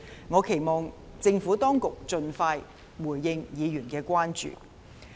我期望政府當局盡快回應議員的關注。